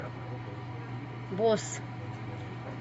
босс